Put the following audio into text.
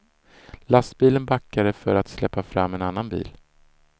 Lastbilen backade för att släppa fram en annan bil.